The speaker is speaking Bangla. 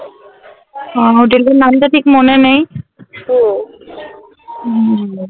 আহ হোটেলটার নামটা ঠিক মনে নেই । হুম